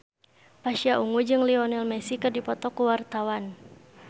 Pasha Ungu jeung Lionel Messi keur dipoto ku wartawan